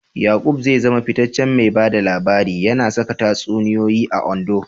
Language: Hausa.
Yaqub zai zama fitaccen mai ba da labari, yana saka tatsuniyoyi a Ondo.